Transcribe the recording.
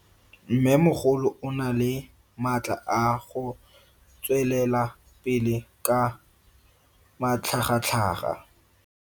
Mmemogolo o na le matla a go tswelela pele ka matlhagatlhaga.